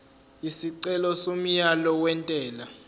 isicelo somyalo wentela